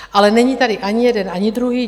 Ale není tady ani jeden, ani druhý.